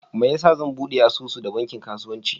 Meyasa zan ɓude asusu da banki kasuwanci?